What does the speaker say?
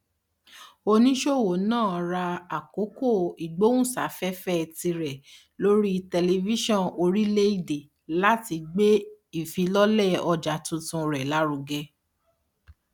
oníṣòwò náà ra àkókò ìgbóhùnsáfẹfẹ tirẹ lórí tẹlifíṣọn orílẹèdè láti gbé ìfilọlẹ ọjà tuntun rẹ lárugẹ